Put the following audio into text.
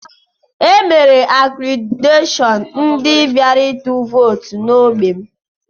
E mere akrediteshọn ndị bịara ịtụ vootu n'ogbé m